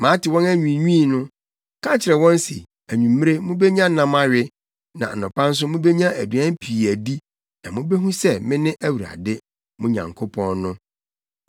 “Mate wɔn anwiinwii no, ka kyerɛ wɔn se, ‘Anwummere, mubenya nam awe na anɔpa nso mubenya aduan pii adi na mubehu sɛ mene Awurade, mo Nyankopɔn, no.’ ”